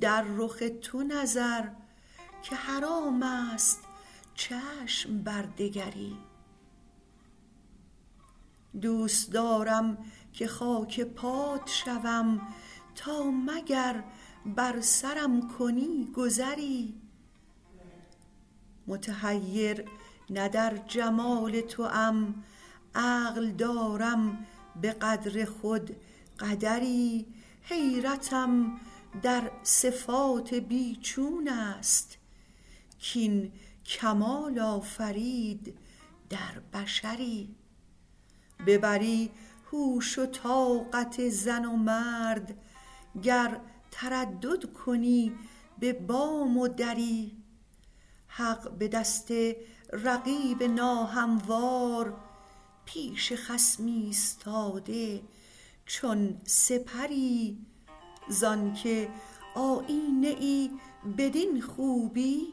در رخ تو نظر که حرام است چشم بر دگری دوست دارم که خاک پات شوم تا مگر بر سرم کنی گذری متحیر نه در جمال توام عقل دارم به قدر خود قدری حیرتم در صفات بی چون است کاین کمال آفرید در بشری ببری هوش و طاقت زن و مرد گر تردد کنی به بام و دری حق به دست رقیب ناهموار پیش خصم ایستاده چون سپری زان که آیینه ای بدین خوبی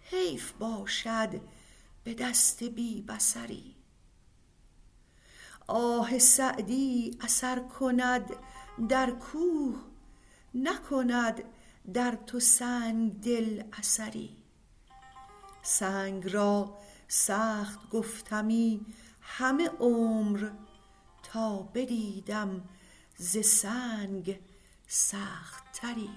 حیف باشد به دست بی بصری آه سعدی اثر کند در کوه نکند در تو سنگ دل اثری سنگ را سخت گفتمی همه عمر تا بدیدم ز سنگ سخت تری